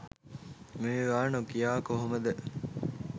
මේවා නොකියා කොහොමද?